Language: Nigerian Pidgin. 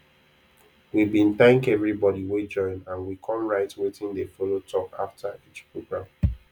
we bin thank everybody wey join and we com write wetin dey follow talk after each program